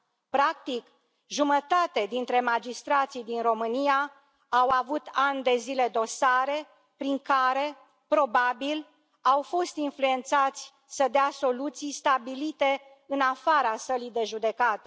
Practic, jumătate dintre magistrații din România au avut ani de zile dosare prin care, probabil, au fost influențați să dea soluții stabilite în afara sălii de judecată.